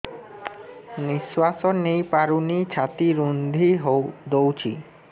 ନିଶ୍ୱାସ ନେଇପାରୁନି ଛାତି ରୁନ୍ଧି ଦଉଛି